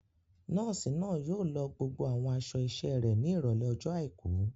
Nọ́ọ̀sì náà yóò lọ gbogbo àwọn aṣọ iṣẹ́ rẹ̀ ní Ìrọ̀lẹ́ ọjọ́ àìkú.